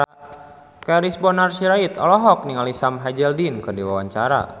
Charles Bonar Sirait olohok ningali Sam Hazeldine keur diwawancara